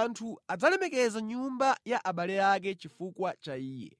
Anthu adzalemekeza nyumba ya abale ake chifukwa cha iye.